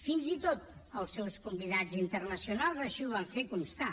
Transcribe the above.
fins i tot els seus convidats internacionals així ho van fer constar